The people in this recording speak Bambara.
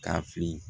Ka fili